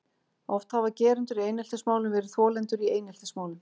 Oft hafa gerendur í eineltismálum verið þolendur í eineltismálum.